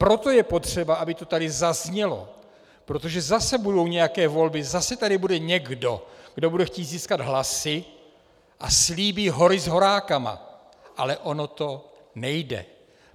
Proto je potřeba, aby to tady zaznělo, protože zase budou nějaké volby, zase tady bude někdo, kdo bude chtít získat hlasy a slíbí "hory s horákama", ale ono to nejde.